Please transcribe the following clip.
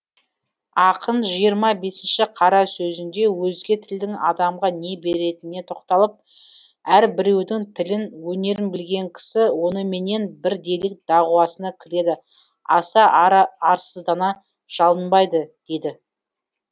ақын жиырма бесінші қара сөзінде өзге тілдің адамға не беретініне тоқталып әрбіреудің тілін өнерін білген кісі оныменен бірдейлік дағуасына кіреді аса арсыздана жалынбайды дейді